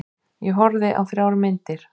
Ég horfði á þrjár myndir.